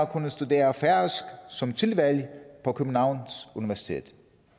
kunne studere færøsk som tilvalg på københavns universitet